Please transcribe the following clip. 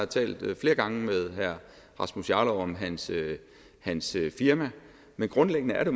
talt flere gange med herre rasmus jarlov om hans hans firma men grundlæggende er det